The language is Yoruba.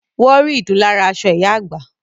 Wọ́n rí ìdun lára aṣọ ìyá àgbà